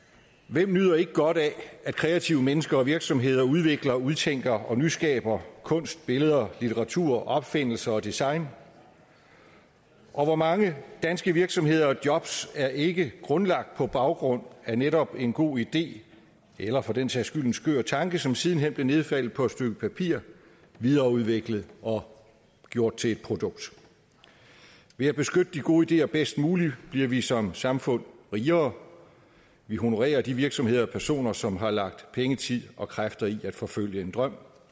hvem nyder ikke godt af at kreative mennesker og virksomheder udvikler udtænker og nyskaber kunst billeder litteratur opfindelser og design og hvor mange danske virksomheder og jobs er ikke grundlagt på baggrund af netop en god idé eller for den sags skyld en skør tanke som siden hen blev nedfældet på et stykke papir videreudviklet og gjort til et produkt ved at beskytte de gode ideer bedst muligt bliver vi som samfund rigere og vi honorerer de virksomheder og personer som har lagt penge tid og kræfter i at forfølge en drøm